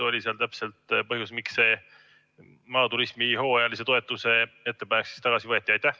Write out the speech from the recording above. Või mis oli täpselt põhjus, miks see maaturismi hooajalise toetuse ettepanek tagasi võeti?